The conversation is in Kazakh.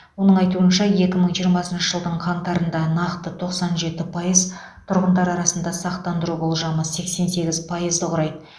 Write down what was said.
оның айтуынша екі мың жиырмасыншы жылдың қаңтарында нақты тоқсан жеті пайыз тұрғындар арасында сақтандыру болжамы сексен сегіз пайызды құрайды